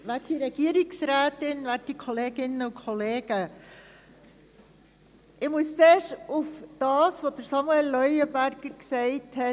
Ich muss zuerst auf das Votum von Samuel Leuenberger reagieren.